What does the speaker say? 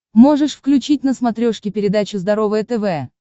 можешь включить на смотрешке передачу здоровое тв